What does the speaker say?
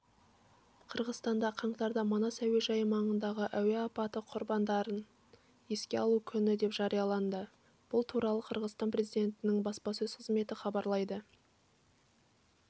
қырғызстанда қаңтарды манас әуежайы маңындағы әуе апаты құрбандарын еске алу күні деп жариялады бұл туралы қырғызстан президентінің баспасөз қызметі хабарлайды